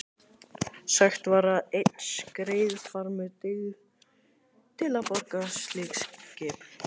Sagt var að einn skreiðarfarmur dygði til að borga slíkt skip.